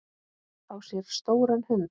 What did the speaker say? Fá sér stóran hund?